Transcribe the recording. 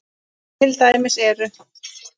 Til dæmis eru